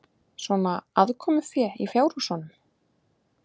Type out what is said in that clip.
Svona aðkomufé í fjárhúsunum?